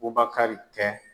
Bubakari tɛ